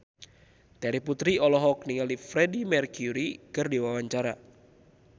Terry Putri olohok ningali Freedie Mercury keur diwawancara